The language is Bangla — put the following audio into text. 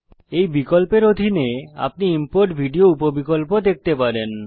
এই বিকল্পের অধীনে আপনি ইম্পোর্ট ভিডিও উপ বিকল্প দেখতে পাবেন